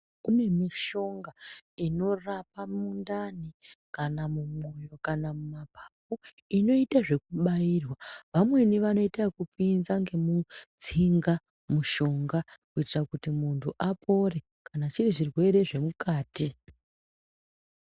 Kune mishonga inorapa mundani kana mumwoyo kana mapapu inoite zvekubairwa vamweni vanoite zvekupinza ngemutsinga mushonga kuitire kuti muntu apore kana zviri zvirwere zvemukati.